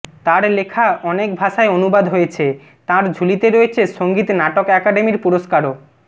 তার লেখা অনেক ভাষায় অনুবাদ হয়েছে তাঁর ঝুলি রয়েছে সঙ্গীত নাটক আকাডেমির পুরস্কারও